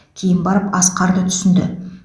кейін барып асқарды түсінді